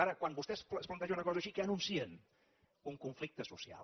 ara quan vostè es planteja una cosa així què anuncien un conflicte social